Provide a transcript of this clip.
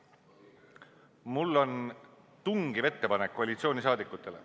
Mul on tungiv ettepanek koalitsiooni liikmetele.